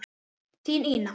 Þín, Ína.